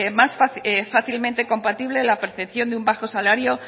fácilmente compatible la percepción de un bajo salario